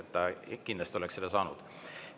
Ta kindlasti oleks saanud.